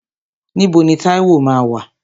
Níbo ni Táíwò máa wà?